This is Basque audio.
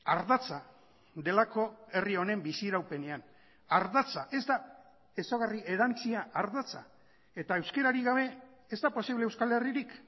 ardatza delako herri honen bizi iraupenean ardatza ez da ezaugarri erantsia ardatza eta euskararik gabe ez da posible euskal herririk